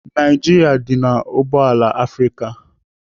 Naijiria dị n'oboala Afrịka.